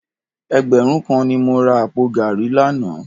Ẹgbẹ̀rún kan ni mo ra àpò gààrí lánàá